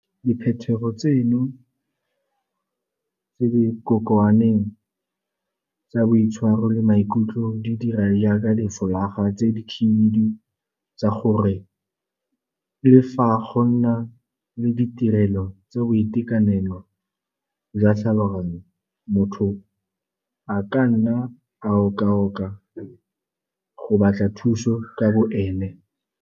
Diphetogo tseno tse di kokoaneng tsa boitshwaro le maikutlo di dira jaaka di folaga tse di khibidu tsa gore le fa go nna le ditirelo tsa boitekanelo jwa tlhaloganyo, motho a ka nna a oka-oka go batla thuso ka bo ene.